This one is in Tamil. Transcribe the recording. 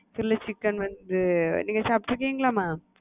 Chilly chicken வச்சு நீங்க சாப்ட்டுருக்கீங்களா mam?